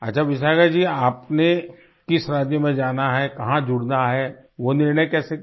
अच्छा विशाखा जी आपने किस राज्य में जाना है कहाँ जुड़ना है वो निर्णय कैसे किया